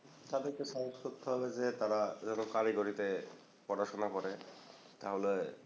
তাদেরকে করতে হবে যে তারা যেন কারিগরিতে পড়াশোনা করে তাহলে